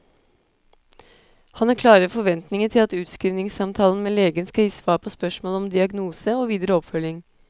Han har klare forventninger til at utskrivningssamtalen med legen skal gi svar på spørsmål om diagnose og videre oppfølging.